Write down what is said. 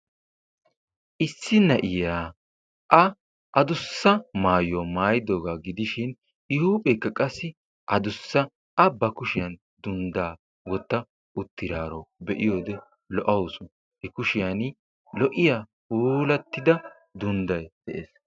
Issi na'iya a addussa maayuwa maayiddooga gidishin I huuphphekka qassi addussa A ba kushshiyan dunddaa wotta uttidaaro be'iyode lo'awusu I kushshiyan lo'iya puulatida dundday de'ees.